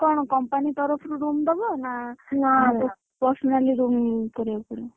ସେଟା କଣ company ତରଫ ରୁ room ଦବ ନା personally room କରିବାକୁ ପଡିବ।